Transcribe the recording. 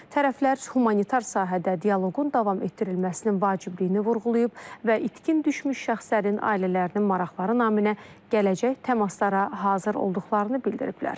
Tərəflər humanitar sahədə dialoqun davam etdirilməsinin vacibliyini vurğulayıb və itkin düşmüş şəxslərin ailələrinin maraqları naminə gələcək təmaslara hazır olduqlarını bildiriblər.